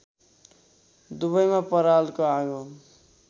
दुवैमा परालको आगो